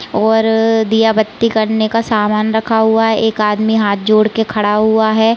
और दिया बत्ती करने का सामान रखा हुआ है। एक आदमी हाथ जोड़ के खड़ा हुआ है।